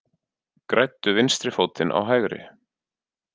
Græddu vinstri fótinn á hægri